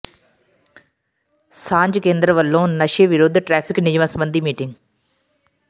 ਸਾਂਝ ਕੇਂਦਰ ਵੱਲੋਂ ਨਸ਼ੇ ਵਿਰੁੱਧ ਟਰੈਫ਼ਿਕ ਨਿਯਮਾਂ ਸਬੰਧੀ ਮੀਟਿੰਗ